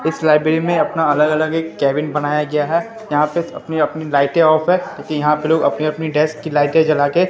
इस लाइब्रेरी में अपना अलग अलग एक केबिन बनाया गया है यहां पे अपनी अपनी लाइटें ऑफ है क्यों कि यहां पे लोग अपने अपने डेस्क की लाइटें जला के--